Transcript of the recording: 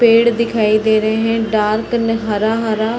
पेड़ दिखाई दे रहे हैं डार्कन हरा-हरा |